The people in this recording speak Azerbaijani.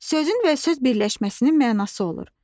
Sözün və söz birləşməsinin mənası olur.